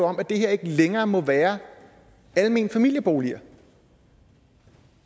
om at det her ikke længere må være almene familieboliger